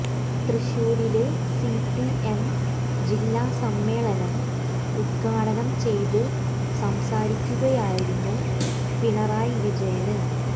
തൃശൂരില് CPM ജില്ലാ സമ്മേളനം ഉദ്ഘാടനം ചെയ്ത് സംസാരിക്കുകയായിരുന്നു പിണറായി വിജയന്